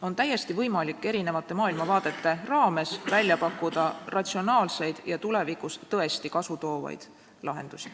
On täiesti võimalik eri maailmavaadete raames välja pakkuda ratsionaalseid ja tulevikus tõesti kasu toovaid lahendusi.